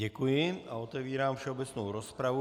Děkuji a otvírám všeobecnou rozpravu.